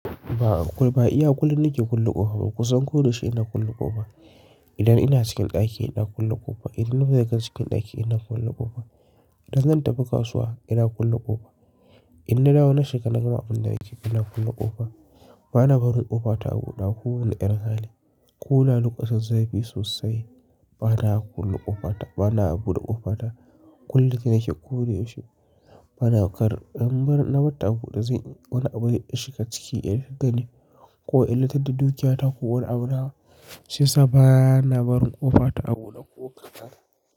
Ba, iya kullum nake kulle ƙofa. Ba ku san ko da shi ina kulle ƙofa. Idan ina cikin ɗaki ina kulle ƙofa, idan na fita daga cikin ɗaki ina kulle ƙofa. Idan zan tafi kasuwa ina kulle ƙofa. Idan na dawo na shiga na gama abun da nake ina kulle ƙofa. Bana barin ƙofa ta a buɗe ko wani ƴan hali. Ko da lokacin zafi sosai. Bana kulle ƙofa ta, bana buɗe ƙofa ta. Kulle ta nake ko da yaushe bana karɓa, in bar na bar ta a buɗe zai wani abu ya shiga ciki ya fitane ko ya littata dukiyata ko wani abu nawa. Shiyasa bana barin ƙofa ta a buɗe ko ƙadan.